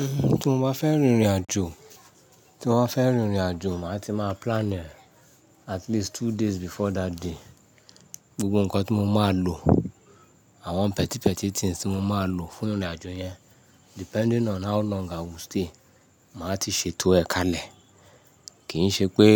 Ehn, tí mo bá fẹ́ rin ìrìnàjò, tí mo bá fẹ́ rin ìrìnàjò, màá ti máa plan e at least two days before that day. Gbogbo ǹkan tí mo máa lò, àwọn pẹtípẹtí things tí mo máa lò fún ìrìnàjò yẹn depending on how long I will stay. Màá ti ṣètò ẹ̀ kalẹ̀. Kì í ṣe pé